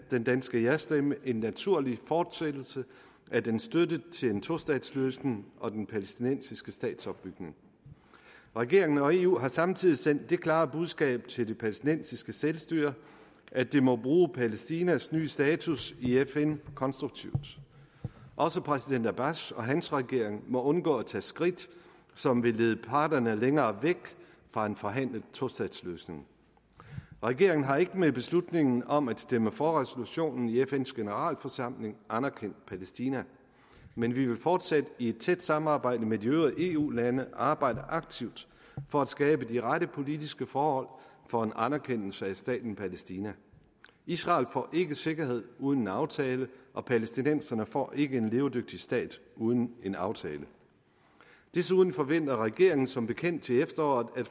den danske jastemme en naturlig fortsættelse af dens støtte til en tostatsløsning og den palæstinensiske statsopbygning regeringen og eu har samtidig sendt det klare budskab til det palæstinensiske selvstyre at det må bruge palæstinas nye status i fn konstruktivt også præsident abbas og hans regering må undgå at tage skridt som vil lede parterne længere væk fra en forhandlet tostatsløsning regeringen har ikke med beslutningen om at stemme for resolutionen i fns generalforsamling anerkendt palæstina men vi vil fortsat i et tæt samarbejde med de øvrige eu lande arbejde aktivt for at skabe de rette politiske forhold for en anerkendelse af staten palæstina israel får ikke sikkerhed uden en aftale og palæstinenserne får ikke en levedygtig stat uden en aftale desuden forventer regeringen som bekendt til efteråret at